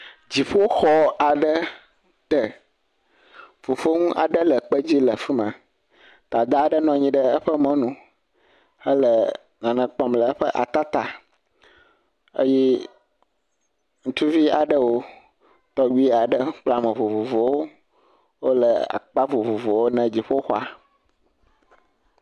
dziƒoxɔ aɖe te fofoŋu aɖe le kpe dzi le afima dada ɖe nɔnyi ɖe eƒe mɔnu hele nane kpɔm le eƒe ata tá eye ŋutuvi aɖewo tɔgbi aɖewo kple ame vovovowo wóle akpa vovovowo ne dziƒoxɔa